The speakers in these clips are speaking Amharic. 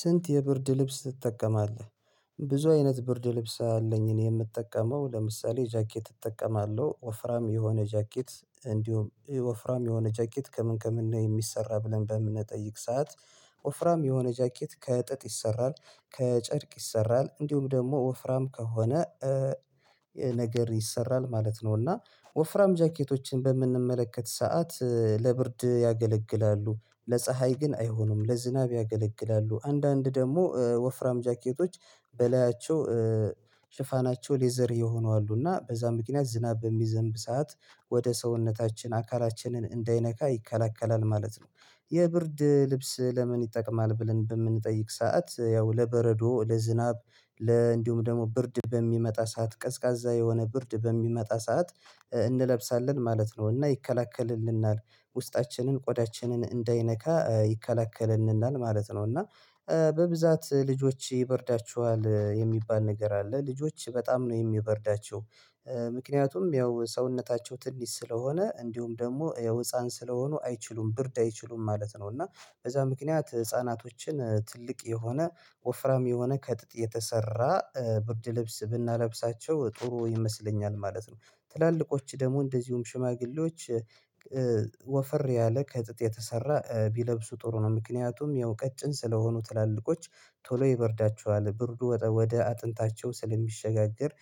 ስንት የብርድ ልብስ ትጠቀማለህ? ብዙ አይነት ብርድ ልብስ አለኝ እኔ የምጠቀመው ለምሳሌ ጃኬት እጠቀማለሁ ወፍራም የሆነ ጃኬት እንዲሁም ወፍራም የሆነ ጃኬት ከምን ከምን ነው የሚሰራ ብለን በምንጠይቅ ሰዓት ወፍራም የሆነ ጃኬት ከጥጥ ይሰራል ከጨርቅ ይሰራል እንዲሁም ደግሞ ወፍራም ከሆነ ነገር ይሰራል ማለት ነው። እና ወፍራም ጃኬቶችን በምንመለከት ሰዓት ለብርድ ያገለግላሉ ለፀሀይ ግን አይሆኑም ለዝናብ ያገለግላሉ አንዳንድ ደግሞ ወፍራም ጃኬቶች በላያቸው ሽፋናቸው ሌዘር የሆኑ አሉና በዛ ምክንያት ዝናብ በሚዘንብ ሰዓት ወደ ሰውነታችን አካላችንን እንዳይነካ ይከለክላል ማለት ነው። የብርድ ልብስ ለምን ይጠቅማል ብለን በምንጠይቅ ሰዓት ያው ለበረዶ ለዝናብ እንዲሁም ደግሞ ብርድ በሚመጣ ሰዓት ቀዝቃዛ የሆነ ብርድ በሚመጣ ሰዓት እንለብሳለን ማለት ነው እና ይከለክልልናል ውስጣችንን ቆዳችንን እንዳይነካ ይከለክልልናል ማለት ነው። እና በብዛት ልጆች ይበርዳችኋል የሚባል ነገር አለ ልጆች በጣም ነው የሚበርዳቸው። ምክንያቱም ያው ሰውነታቸው ትንሽ ስለሆነ እንዲሁም ደግሞ ያው ህፃን ስለሆኑ አይችሉም ብርድ አይችሉም ማለት ነው እና በዛ ምክንያት ህፃናቶችን ትልቅ የሆነ ወፍራም የሆነ ከጥጥ የተሰራ ብርድ ልብስ ብናለብሳቸው ጥሩ ይመስለኛል ማለት ነው። ትላልቆች ደግሞ እንደዚሁም ሽማግሌዎች። ወፈር ያለ ከጥጥ የተሰራ ቢለብሱ ጥሩ ነው ምክንያቱም ያው ቀጭን ስለሆኑ ትላልቆች ቶሎ ይበርዳቸዋል ብርዱ ወደ አጥንታቸው ስለሚሸጋገር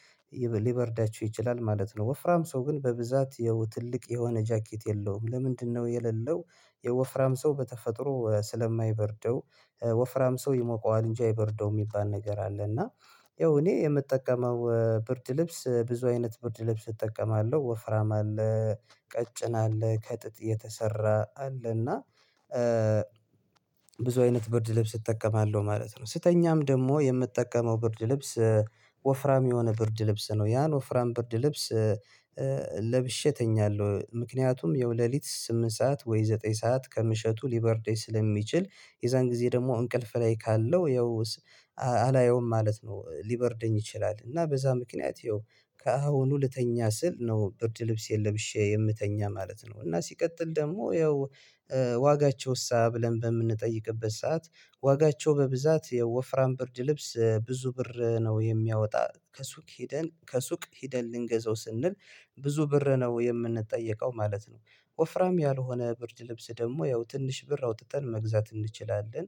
ሊበርዳቸው ይችላል ማለት ነው። ወፍራም ሰው ግን በብዛት ያው ትልቅ የሆነ ጃኬት የለውም ለምንድነው የሌለው? የወፍራም ሰው በተፈጥሮ ስለማይበርደው ወፍራም ሰው ይሞቀዋል እንጂ አይበርደውም የሚባል ነገር አለ። እና ያው እኔ የምጠቀመው ብርድ ልብስ ብዙ አይነት ብርድ ልብስ እጠቀማለሁ ወፍራም አለ። ቀጭን አለ ከጥጥ የተሰራ አለ እና ብዙ አይነት ብርድ ልብስ እጠቀማለሁ ማለት ነው። ስተኛም ደግሞ የምጠቀመው ብርድ ልብስ ወፍራም የሆነ ብርድ ልብስ ነው። ያን ወፍራም ብርድ ልብስ ለብሼ እተኛለሁ ምክንያቱም ያው ለሊት ስምንት ሰዓት ወይ ዘጠኝ ሰዓት ከምሽቱ ሊበርደኝ ስለሚችል የዛን ጊዜ ደግሞ እንቅልፍ ላይ ካለው ያው አላየውም ማለት ነው። ሊበርደኝ ይችላል እና በዛ ምክንያት ያው ከአሁኑ ልተኛ ስል ነው ብርድ ልብሴን ለብሺ የምተኛ ማለት ነው። እና ሲቀጥል ደግሞ ያው ዋጋቸው እሳ ብለን በምንጠይቅበት ሰዓት ዋጋቸው በብዛት የወፍራም ብርድ ልብስ ብዙ ብር ነው የሚያወጣ ከሱቅ ሄደን ከሱቅ ሄደን ልንገዛው ስንል ብዙ ብር ነው የምንጠየቀው ማለት ነው። ወፍራም ያልሆነ ብርድ ልብስ ደግሞ ያው ትንሽ ብር አውጥተን መግዛት እንችላለን።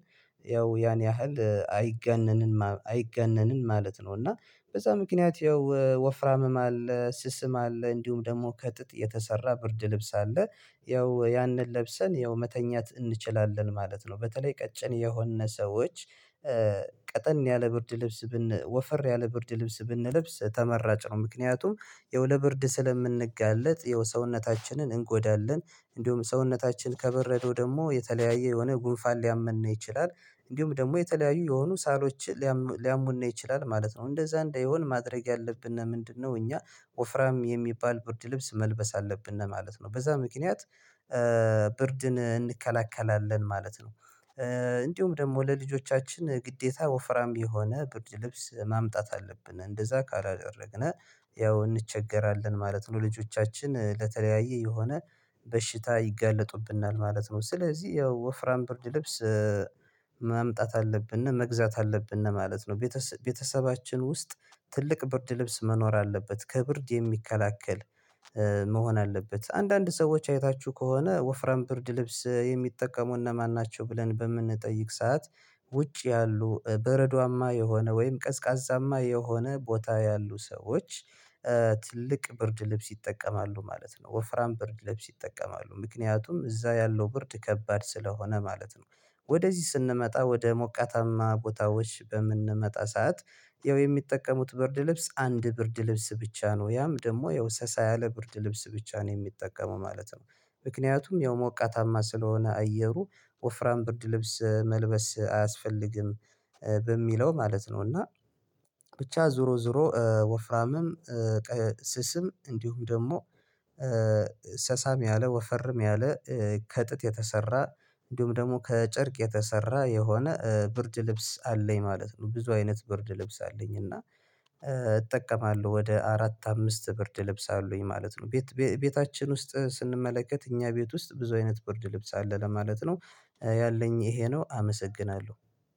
ያው ያን ያህል አይጋነንም ማለት ነው። እና በዛ ምክንያት ያው ወፍራምም አለ ስስም አለ እንዲሁም ደግሞ ከጥጥ የተሰራ ብርድ ልብስ አለ። ያው ያንን ለብሰን ያው መተኛት እንችላለን ማለት ነው። በተለይ ቀጭን የሆነ ሰዎች ቀጠን ያለ ብርድ ልብስ ወፈር ያለ ብርድ ልብስ ብንለብስ ተመራጭ ነው። ምክንያቱም ያው ለብርድ ስለምንጋለጥ ሰውነታችንን እንጎዳለን እንደውም ሰውነታችን ከበረዶ ደግሞ የተለያየ የሆነ ጉንፋን ሊያመን ይችላል። እንዲሁም ደግሞ የተለያዩ የሆኑ ሳሎች ሊያሙን ይችላል ማለት ነው። እንደዛ እንዳይሆን ማድረግ ያለብን ምንድነው? እኛ ወፍራም የሚባል ብርድ ልብስ መልበስ አለብን ማለት ነው። በዛ ምክንያት ብርድን እንከላከላለን ማለት ነው። እንዲሁም ደግሞ ለልጆቻችን ግዴታ ወፍራም የሆነ ብድር ልብስ ማምጣት አለብን እንደዛ ካላደረግነው ያው እንቸገራለን ማለት ነው። ልጆቻችን ለተለያየ የሆነ በሽታ ይጋለጡብናል ማለት ነው። ስለዚህ ያው ወፍራም ብርድ ልብስ ማምጣት አለብነ መግዛት አለብነ ማለት ነው። ቤተሰባችን ውስጥ ትልቅ ብርድ ልብስ መኖር አለበት ከብርድ የሚከላከል መሆን አለበት። አንዳንድ ሰዎች አይታችሁ ከሆነ ወፍራም ብርድ ልብስ የሚጠቀሙ እነማን ናቸው? ብለን በምንጠይቅ ሰዓት ውጪ ያሉ በረዷማ የሆነ ወይም ቀዝቃዛማ የሆነ ቦታ ያሉ ሰዎች ትልቅ ብርድ ልብስ ይጠቀማሉ ማለት ነው። ወፍራም ብርድ ልብስ ይጠቀማሉ ምክንያቱም እዛ ያለው ብርድ ከባድ ስለሆነ ማለት ነው። ወደዚህ ስንመጣ ወደ ሞቃታማ ቦታዎች በምንመጣ ሰዓት ያው የሚጠቀሙት ብርድ ልብስ አንድ ብርድ ልብስ ብቻ ነው ያም ደግሞ ያው ሰሳ ያለ ብርድ ልብስ ብቻ ነው የሚጠቀሙ ማለት ነው። ምክንያቱም ያው ሞቃታማ ስለሆነ አየሩ ወፍራም ብርድ ልብስ መልበስ አያስፈልግም በሚለው ማለት ነው። እና ብቻ ዞሮ ዞሮ ወፍራምም ስስም እንዲሁም ደግሞ ሰሳም ያለ ወፈርም ያለ ከጥጥ የተሰራ እንዲሁም ደግሞ ከጨርቅ የተሰራ የሆነ ብርድ ልብስ አለኝ ማለት ነው። ብዙ አይነት ብርድ ልብስ አለኝ እና እጠቀማለሁ ወደ አራት አምስት ብርድ ልብስ አሉኝ ማለት ነው። ቤታችን ውስጥ ስንመለከት እኛ ቤት ውስጥ ብዙ አይነት ብርድ ልብስ አለ ለማለት ነው። ያለኝ ይሄ ነው አመሰግናለሁ።